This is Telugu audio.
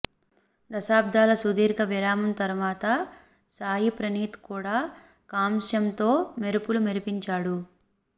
దశాబ్దాల సుదీర్ఘ విరామం తర్వాత సాయి ప్రణీత్ కూడా కాంస్యంతో మెరుపులు మెరిపించాడు